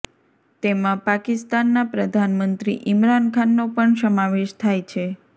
તેમા પાકિસ્તાનના પ્રધાનમંત્રી ઈમરાન ખાનનો પણ સમાવેશ થાય છે